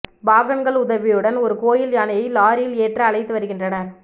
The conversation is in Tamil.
பாகன்கள் உதவியுடன் ஒரு கோயில் யானையை லாரியில் ஏற்ற அழைத்து வருகின்றனர்